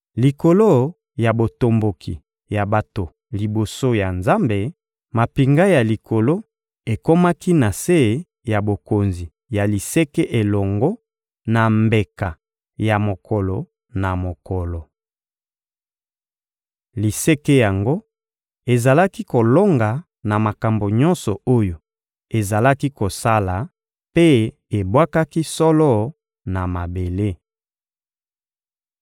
Likolo ya botomboki ya bato liboso ya Nzambe, mampinga ya likolo ekomaki na se ya bokonzi ya liseke elongo na mbeka ya mokolo na mokolo. Liseke yango ezalaki kolonga na makambo nyonso oyo ezalaki kosala mpe ebwakaki solo na mabele.